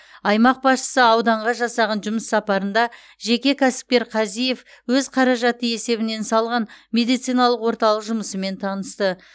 аймақ басшысы ауданға жасаған жұмыс сапарында жеке кәсіпкер казиев өз қаражаты есебінен салған медициналық орталық жұмысымен танысты